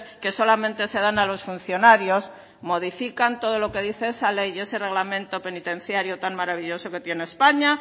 que solamente se dan a los funcionarios modifican todo lo que dice esa ley y ese reglamento penitenciario tan maravilloso que tiene españa